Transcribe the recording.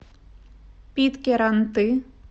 питкяранты